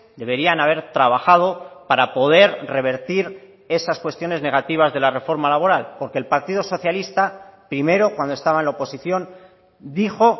deberían haber trabajado para poder revertir esas cuestiones negativas de la reforma laboral porque el partido socialista primero cuando estaba en la oposición dijo